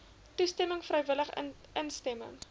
toestemming vrywillige instemming